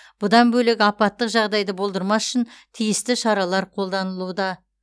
бұдан бөлек апаттық жағдайды болдырмас үшін тиісті шаралар қолданылуда